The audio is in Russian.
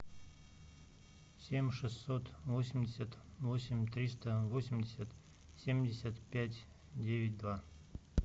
семь шестьсот восемьдесят восемь триста восемьдесят семьдесят пять девять два